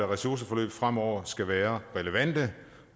ressourceforløb fremover skal være relevante